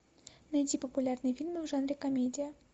найди популярные фильмы в жанре комедия